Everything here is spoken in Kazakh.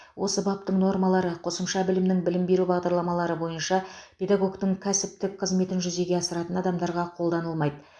осы баптың нормалары қосымша білімнің білім беру бағдарламалары бойынша педагогтің кәсіптік қызметін жүзеге асыратын адамдарға қолданылмайды